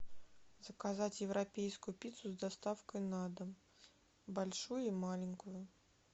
заказать европейскую пиццу с доставкой на дом большую и маленькую